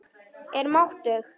Er máttug.